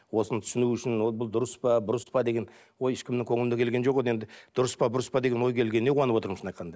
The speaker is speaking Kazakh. осыны түсіну үшін ол бұл дұрыс па бұрыс па деген ой ешкімнің көңіліне келген жоқ енді дұрыс па бұрыс па деген ой келгеніне қуанып отырмын шынын айтқанда